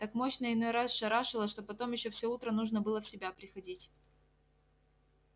так мощно иной раз шарашило что потом ещё всё утро нужно было в себя приходить